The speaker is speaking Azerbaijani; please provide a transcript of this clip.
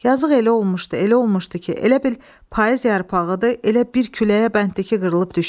Yazıq elə olmuşdu, elə olmuşdu ki, elə bil payız yarpağıdır, elə bir küləyə bənddir ki, qırılıb düşsün.